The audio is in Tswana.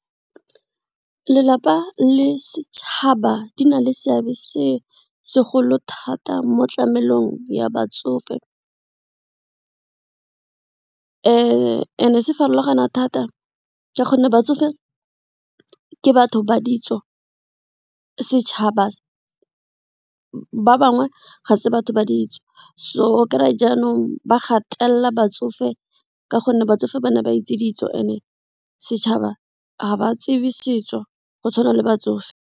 Lelapa le setšhaba di na le seabe se segolo thata mo tlamelong ya batsofe and se farologana thata ka gonne batsofe ke batho ba ditso setšhaba ba bangwe ga se batho ba ditso so o kry jaanong ba gatelela batsofe ka gonne batsofe ba ne ba itse ditso and setšhaba ga ba tsebe setso go tshwana le batsofe.